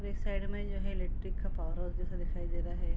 पौधे है उसके बाद है।